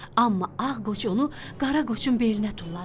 Amma ağ qoçu onu qara qoçun belinə tulladı.